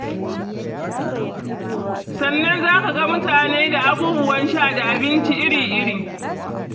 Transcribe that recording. Sannan za ka ga mutane da abubuwan sha da abinci iri-iri.